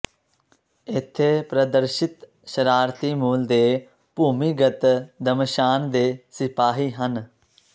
ਇੱਥੇ ਪ੍ਰਦਰਸ਼ਿਤ ਸ਼ਰਾਰਤੀ ਮੂਲ ਦੇ ਭੂਮੀਗਤ ਦਮਸ਼ਾਨ ਦੇ ਸਿਪਾਹੀ ਹਨ